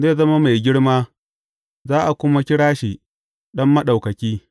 Zai zama mai girma, za a kuma kira shi Ɗan Maɗaukaki.